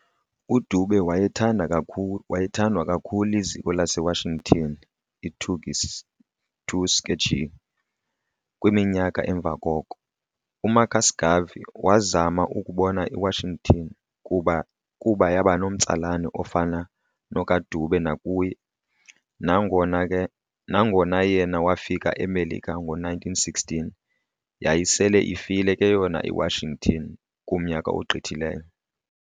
UDube wayethanda wayethandwa kakhulu liziko lase Washington iTuskegee, kwiminyaka emva koko, uMarcus Garvey waazama ukubona i-Washington kuba yabanomtsalane ofana nokaDube nakuye, nangona yena waafika eMelika ngo-1916, yayise ifile ke yona iWashington kumnyaka ogqithileyo.